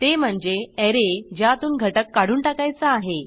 ते म्हणजे ऍरे ज्यातून घटक काढून टाकायचा आहे